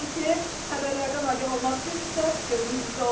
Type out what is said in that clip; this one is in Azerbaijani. Odur ki, xəbərlərdən agah olmaq istəyirsinizsə, gözünüz bizdə olsun.